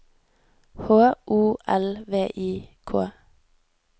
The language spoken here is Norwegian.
H O L V I K